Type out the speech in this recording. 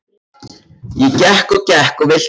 Ég gekk og gekk og villtist.